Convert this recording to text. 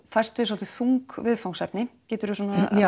fæst við svolítið þung viðfangsefni geturðu svona